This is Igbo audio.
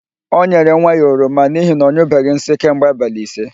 O nyere nwa ya oroma n'ihi na ọ nyụbeghị nsị kemgbe abalị ise.